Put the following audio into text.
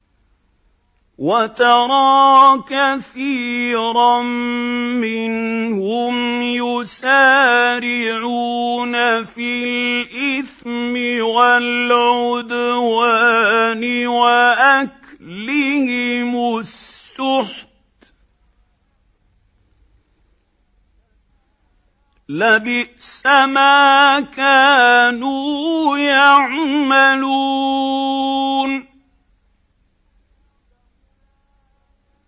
وَتَرَىٰ كَثِيرًا مِّنْهُمْ يُسَارِعُونَ فِي الْإِثْمِ وَالْعُدْوَانِ وَأَكْلِهِمُ السُّحْتَ ۚ لَبِئْسَ مَا كَانُوا يَعْمَلُونَ